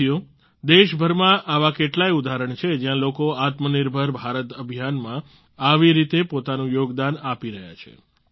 સાથીઓ દેશભરમાં આવા કેટલાય ઉદાહરણ છે જ્યાં લોકો આત્મનિર્ભર ભારત અભિયાન માં આવી રીતે પોતાનું યોગદા આપી રહ્યા છે